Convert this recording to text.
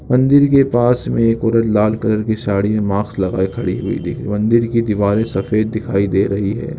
मंदिर के पास में एक औरत लाल कलर की साडी एंड मास्क लगाए खड़ी हुई दिख- मंदिर की दीवारे सफ़ेद दिखाई दे रही हैं।